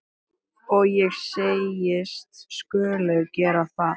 Og ég segist skulu gera það.